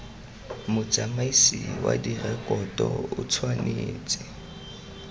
motsamaisi wa direkoto o tshwanetse